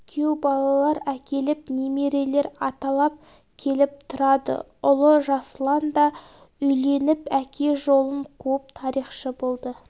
күйеу балалар әкелеп немерелер аталап келіп тұрады ұлы жасұлан да үйленіп әке жолын қуып тарихшы болды